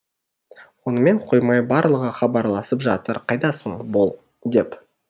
онымен қоймай барлығы хабарласып жатыр қайдасың бол деп